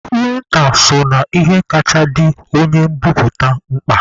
Prịnta so n'ihe kacha dị onye mbiputa mkpa.